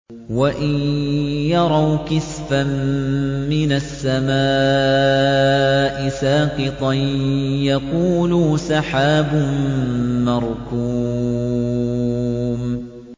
وَإِن يَرَوْا كِسْفًا مِّنَ السَّمَاءِ سَاقِطًا يَقُولُوا سَحَابٌ مَّرْكُومٌ